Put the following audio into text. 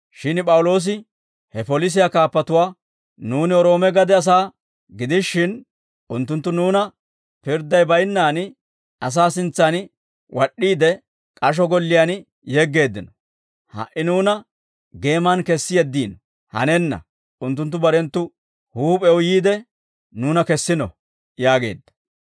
Shin P'awuloosi he polisiyaa kaappatuwaa, «Nuuni Roome gade asaa gidishin, unttunttu nuuna pirdday baynnaan asaa sintsan wad'd'iide, k'asho golliyaan yeggeeddino. Ha"i nuuna geeman kessi yeddiinoo? Hanenna; unttunttu barenttu huup'ew yiide, nuuna kessino» yaageedda.